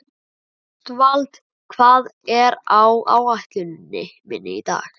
Ástvald, hvað er á áætluninni minni í dag?